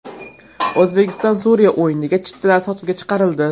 O‘zbekiston–Suriya o‘yiniga chiptalar sotuvga chiqarildi.